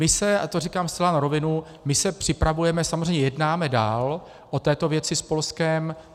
My se, a to říkám zcela na rovinu, my se připravujeme, samozřejmě jednáme dál o této věci s Polskem.